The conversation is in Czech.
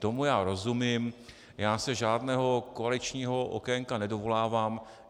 Tomu já rozumím, já se žádného koaličního okénka nedovolávám.